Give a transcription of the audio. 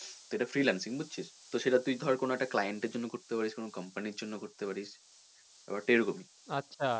তো এটা freelancing বুঝছিস ধর তোর সেটা কোনো একটা client এর জন্য করতে পারিস কোনো company র জন্য করতে পারিস ব্যাপারটা এইরকমই।